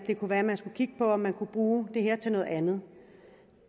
kunne være at man skulle kigge på om man kunne bruge det her til noget andet